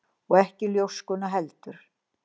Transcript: Og ekki ljóskuna heldur.